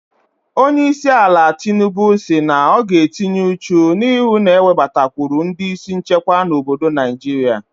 Onyeisiala Tinubu si na ọ ga-etinye uchu na ịhụ na-ewebatakwụrụ ndị isi nchekwa n'obodo Naijiria.